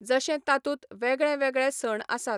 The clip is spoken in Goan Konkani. जशें तातूंत वेगळे वेगळे सण आसात.